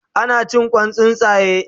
Ana cin Kwan tsuntsaye